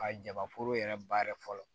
Ka jabaforo yɛrɛ ba yɛrɛ fɔlɔ